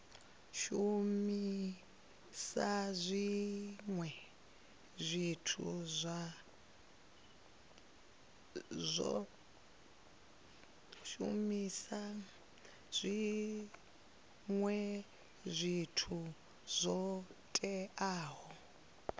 shumisa zwinwe zwithu zwo teaho